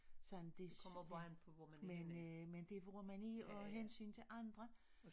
Sådan det men øh men det hvor man er af hensyn til andre